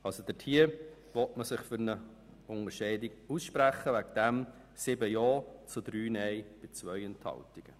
In diesem Punkt will man sich für eine Unterscheidung aussprechen mit 7 Ja- zu 3 Nein-Stimmen bei 2 Enthaltungen.